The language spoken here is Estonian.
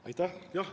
Aitäh!